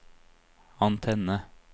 antenne